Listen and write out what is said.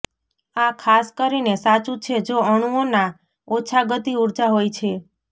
આ ખાસ કરીને સાચું છે જો અણુઓના ઓછા ગતિ ઊર્જા હોય છે